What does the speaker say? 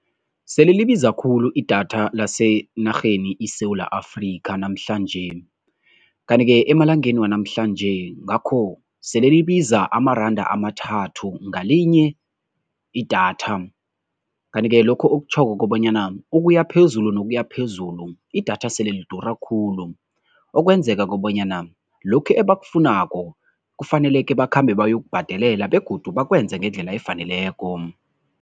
Sele libiza khulu idatha lasenarheni iSewula Afrika namhlanje kanti-ke emalangeni wanamhlanje ngakho sele libiza amaranda amathathu ngalinye idatha. Kanti-ke lokho okutjhoko kobanyana ukuya phezulu nokuya phezulu idatha sele lidura khulu, okwenzeka kobanyana lokhu ebakufunako kufaneleke bakhambe bayokubhadelela begodu bakwenze ngendlela efaneleko.